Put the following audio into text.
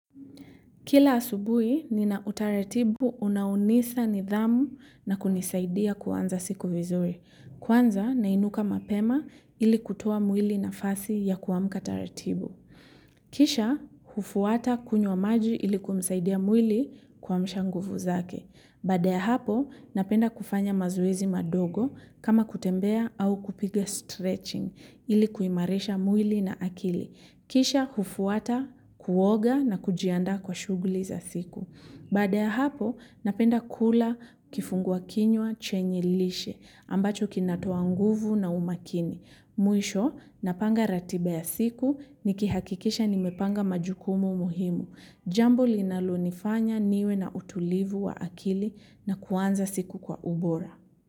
Kila asubui, nina utaratibu unaonisa nidhamu na kunisaidia kuanza siku vizuri. Kwanza nainuka mapema ili kutoa mwili nafasi ya kuamka taratibu kisha, hufuata kunywa maji ili kumsaidia mwili kuamsha nguvu zake. Baada ya hapo, napenda kufanya mazoezi madogo kama kutembea au kupiga stretching ili kuimarisha mwili na akili. Kisha kufuata, kuoga na kujiandaa kwa shuguli za siku. Baada ya hapo, napenda kula kifungua kinywa chenye lishe, ambacho kinatoa nguvu na umakini. Mwisho, napanga ratiba ya siku, nikihakikisha nimepanga majukumu muhimu. Jambo linalo nifanya niwe na utulivu wa akili na kuanza siku kwa ubora.